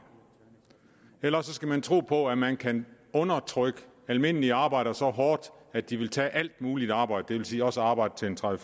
eller også skal man tro på at man kan undertrykke almindelige arbejdere så hårdt at de vil tage alt muligt arbejde det vil sige også arbejde til tredive